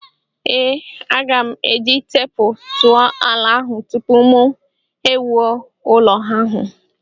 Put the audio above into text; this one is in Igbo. Ee, aga m eji teepu tụọ ala ahụ tupu mụ ewuo ụlọ ahụ.